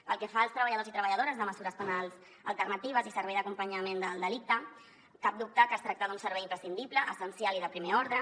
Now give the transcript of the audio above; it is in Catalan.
pel que fa als treballadors i treballadores de mesures penals alternatives i servei d’acompanyament del delicte cap dubte que es tracta d’un servei imprescindible essencial i de primer ordre